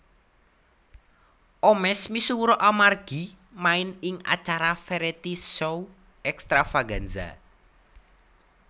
Omesh misuwur amargi main ing acara variety show Extravaganza